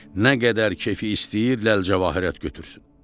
Nə qədər keyfi istəyir, ləlcəvahirat götürsün.